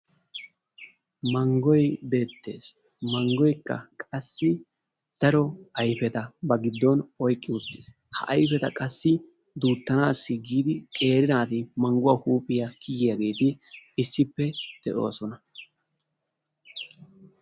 mangoy beetes mangoykka qassi daro ayfeta ba giddon aykees, ha ayfeta duutanaassi giidi qeeri naaati manguwa huuphiya kiyiyaageeti issippe de'oosona.